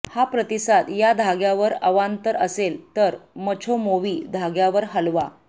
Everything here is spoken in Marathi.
हा प्रतिसाद या धाग्यावर अवांतर असेल तर मछोमोवि धाग्यावर हलवा